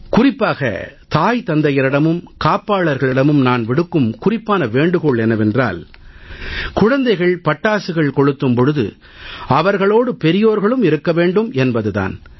குறிப்பாகத் தாய் தந்தையரிடமும் காப்பாளர்களிடமும் நான் விடுக்கும் குறிப்பான வேண்டுகோள் என்னவென்றால் குழந்தைகள் பட்டாசுகள் கொளுத்தும் போது அவர்களோடு பெரியோர்களும் இருக்க வேண்டும் என்பது தான்